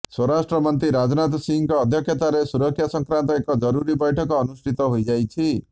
ସ୍ୱରାଷ୍ଟ୍ରମନ୍ତ୍ରୀ ରାଜନାଥ ସିଂହଙ୍କ ଅଧ୍ୟକ୍ଷତାରେ ସୁରକ୍ଷା ସଂକ୍ରାନ୍ତ ଏକ ଜରୁରୀ ବୈଠକ ଅନୁଷ୍ଠିତ ହୋଇଯାଇଛି